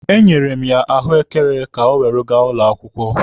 E nyere m ya ahụekere ka o were gaa ụlọ akwụkwọ.